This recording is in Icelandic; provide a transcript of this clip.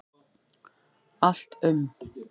Allt um